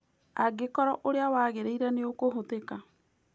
Angĩkorwo ũira wagĩrĩire nĩũkũhũthĩka.